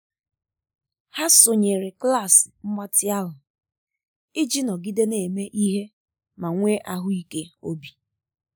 ha sonyere klas mgbatị ahụ iji nọgide na-eme ihe ma nwee ahụike obi.